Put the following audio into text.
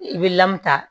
I bɛ ta